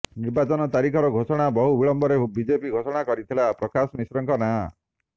ନିର୍ବାଚନ ତାରିଖର ଘୋଷଣାର ବହୁ ବିଳମ୍ବରେ ବିଜେପି ଘୋଷଣା କରିଥିଲା ପ୍ରକାଶ ମିଶ୍ରଙ୍କର ନାଁ